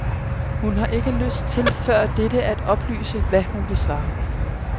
Hun har ikke lyst til før dette at oplyse, hvad hun vil svare.